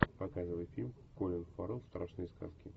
показывай фильм колин фаррелл страшные сказки